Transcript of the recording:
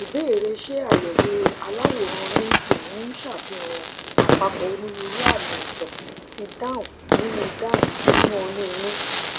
ìbéèrè ṣé àyẹwò aláwòrán nt ń ṣàfihàn àpapọ onírúurú àmì àìsàn ti down nínú down nínú oyún inú